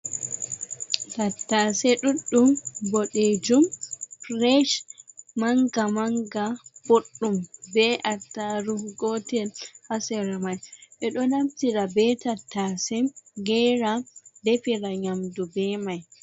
Tattase ɗuɗɗum, boɗejum, firesh, manga- manga, boɗɗum be attaarugu gotel haa sera mai. Ɓe ɗo naftira be tattase gera, defira nyamdu be mai.